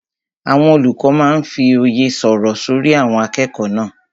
Àwọn olùkọ́ máa n fí òye sọ́rí àwọn akẹ́kọ̀ọ́ náà